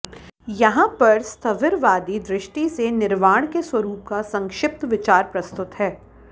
यहाँ पर स्थविरवादी दृष्टि से निर्वाण के स्वरूप का संक्षिप्त विचार प्रस्तुत है